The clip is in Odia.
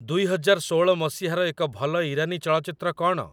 ଦୁଇ ହଜାର ଷୋଳ ମସିହାର ଏକ ଭଲ ଇରାନୀ ଚଳଚ୍ଚିତ୍ର କ'ଣ?